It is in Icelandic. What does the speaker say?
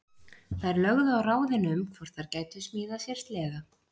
Þær lögðu á ráðin um hvort þær gætu smíðað sér sleða.